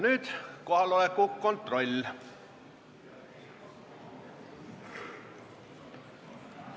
Nüüd kohaloleku kontroll.